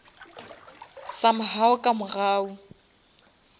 some how ka mogau